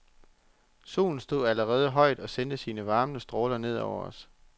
Solen stod allerede højt og sendte sine varmende stråler ned over os.